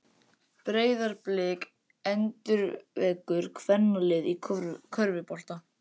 Breiðablik endurvekur kvennalið í körfubolta